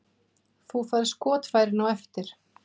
Þú færð skotfærin á eftir.